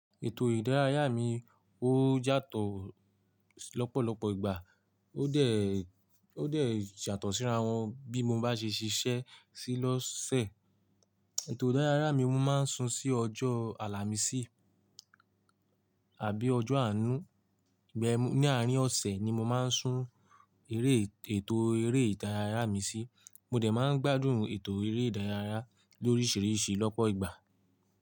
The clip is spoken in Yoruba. Ètò ìdárayá mi ó yatọ̀ lọ́pọ̀lọ́pọ̀ ìgbà, ó dẹ̀, ó dẹ̀ yàtọ̀ síra wọn bí mo bá ṣe ṣiṣẹ́ sí lọ́sẹ̀. Ètò ìdárayá mi mo máa ń sun sí ọjọ́ àlàmísì àbí ọjọ́ àánú, ìgbà yen ní àárín ọ̀sẹ̀ ni mo máa ń sun eré ètò eré ìdárayá mi sí, mo dẹ̀ máa ń gbádùn ètò eré ìdárayá lóríṣiríṣi lọ́pọ̀ ìgbà.